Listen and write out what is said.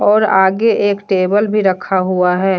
और आगे एक टेबल भी रखा हुआ है।